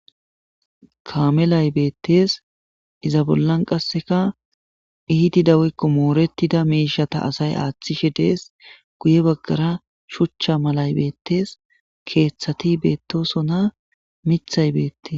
kaamelay beettees iza bollan qasseka iiti dawekko mooretida miishata asay aaththishe dees guye baggara shuchcha malay beettees keeththati beettosona mithay beettes